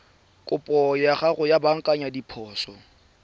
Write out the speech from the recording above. kopo ya go baakanya diphoso